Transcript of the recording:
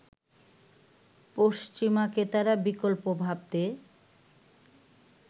পশ্চিমা ক্রেতারা বিকল্প ভাবতে